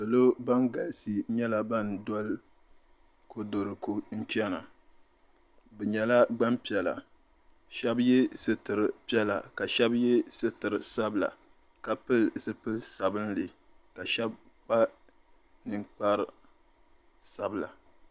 Salo ban galisi nyɛla ban doli kodoriko n-chana bɛ nyɛla gbampiɛla shɛba ye sitiri piɛla ka shɛba ye sitiri sabila ka pili zipili sabinli ka shɛba kpa ninkpar'sabila.